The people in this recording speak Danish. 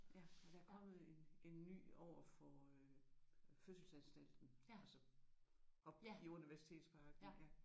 Ja ja der er kommet en en ny overfor øh fødselsanstalten altså oppe i Universitetsparken